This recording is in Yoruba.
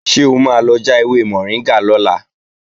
Ṣé o máa lọ já ewé mọ̀ríngà lọ́la?